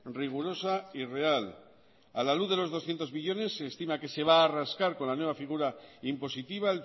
rigurosa y real a la luz de los doscientos millónes se estima que se va a rascar con la nueva figura impositiva